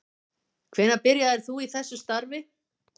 Hvenær byrjaðir þú í þessu starfi?